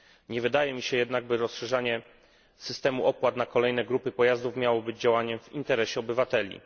Nie wydaje mi się jednak, by rozszerzanie systemu opłat na kolejne grupy pojazdów miałoby być działaniem w interesie obywateli.